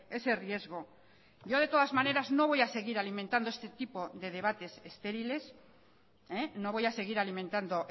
ese riesgo yo de todas maneras no voy a seguir alimentando este tipo de debates estériles no voy a seguir alimentando